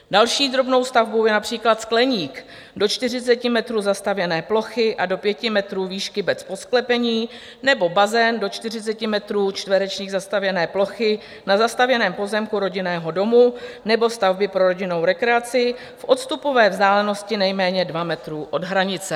Další drobnou stavbou je například skleník do 40 metrů zastavěné plochy a do 5 metrů výšky bez podsklepení nebo bazén do 40 metrů čtverečních zastavěné plochy na zastavěném pozemku rodinného domu nebo stavby pro rodinnou rekreaci v odstupové vzdálenosti nejméně 2 metrů od hranice.